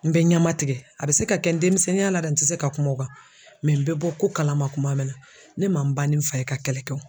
N bɛ ɲama tigɛ a bɛ se ka kɛ n denmisɛnninya la dɛ n tɛ se ka kuma o kan n bɛ bɔ ko kalama kuma min na ne man n ban ni n fa ye ka kɛlɛ kɛ wo.